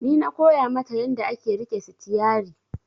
Ni na koya mata yanda ake riƙe sitiyari